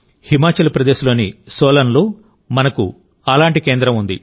హిమాచల్ ప్రదేశ్లోని సోలన్లో మనకు అలాంటి కేంద్రం ఉంది